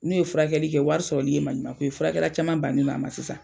N'o ye furakɛli kɛ wari sɔrɔli ye maɲumako ye, furakɛla caman bannen do a ma sisan.